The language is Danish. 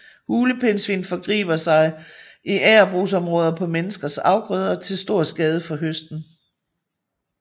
Hulepindsvin forgriber sig i agerbrugsområder på menneskers afgrøder til stor skade for høsten